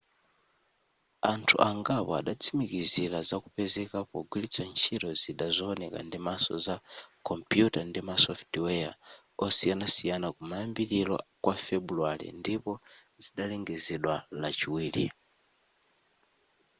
anthu angapo adatsimikizila za kupezeka pogwilitsa ntchito zida zowoneka ndimaso za kompuyuta ndi ma software osiyanasiyana kumayambiliro kwa febuluwale ndipo zidalengezedwa lachiwiri